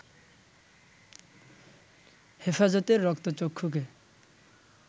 হেফাজতের রক্তচক্ষুকে